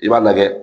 I b'a lajɛ